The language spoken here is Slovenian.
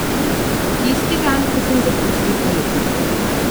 Tisti dan, ko sem zapustil Alep.